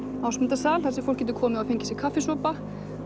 Ásmundarsal þar sem fólk getur fengið sér kaffisopa